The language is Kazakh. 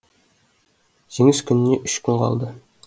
жеңіс күніне үш күн қалды